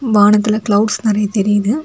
வானத்துல கிளவுட்ஸ் நெறைய தெரியுது.